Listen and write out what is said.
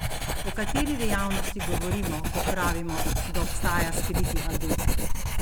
O kateri dejavnosti govorimo, ko pravimo, da obstaja skriti adut?